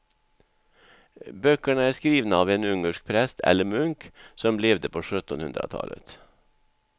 Böckerna är skrivna av en ungersk präst eller munk som levde på sjuttonhundratalet.